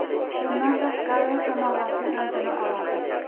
Bundan tashqari, shamollashning oldini oladi.